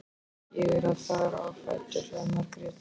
Ég er að fara á fætur, sagði Margrét.